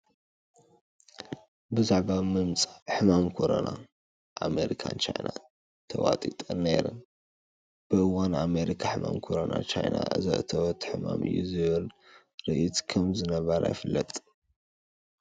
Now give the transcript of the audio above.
ብዛዕባ ምምፃእ ሕማም ኮረና ኣሜሪካን ቻይናን ተዋጢጠን ነይረን፡፡ ብእዋኑ ኣሜሪካ ሕማም ኮረና ቻይና ዘእተወቶ ሕማም እዩ ዝብል ርድኢት ከምዝነበራ ይፍለጥ፡፡